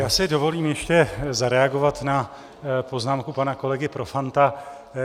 Já si dovolím ještě zareagovat na poznámku pana kolegy Profanta.